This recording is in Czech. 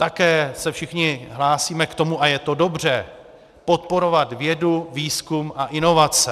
Také se všichni hlásíme k tomu, a je to dobře, podporovat vědu, výzkum a inovace.